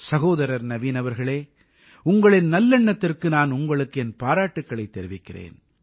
சகோதரர் நவீன் அவர்களே உங்களின் நல்லெண்ணத்திற்கு நான் உங்களுக்கு என் பாராட்டுக்களைத் தெரிவிக்கிறேன்